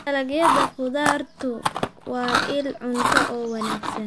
Dalagyada khudaartu waa il cunto oo wanaagsan.